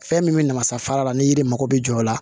Fɛn min bɛ namasafara la ni yiri mako bɛ jɔ o la